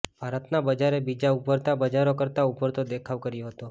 ભારતના બજારે બીજાં ઊભરતાં બજારો કરતાં ઊતરતો દેખાવ કર્યો હતો